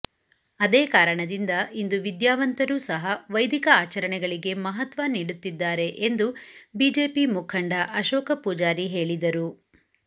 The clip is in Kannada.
ಅದೇ ಕಾರಣದಿಂದ ಇಂದು ವಿಧ್ಯಾವಂತರೂ ಸಹ ವೈದಿಕ ಆಚರಣೆಗಳಿಗೆ ಮಹತ್ವ ನೀಡುತ್ತಿದ್ದಾರೆ ಎಂದು ಬಿಜೆಪಿ ಮುಖಂಡ ಅಶೋಕ ಪೂಜಾರಿ ಹೇಳಿದರು